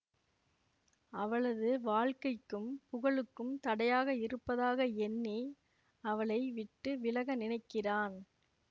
அவளது வாழ்க்கைக்கும் புகழுக்கும் தடையாக இருப்பதாக எண்ணி அவளை விட்டு விலக நினைக்கிறான்